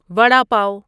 vada پاو